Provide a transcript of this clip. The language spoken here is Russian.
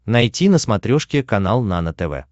найти на смотрешке канал нано тв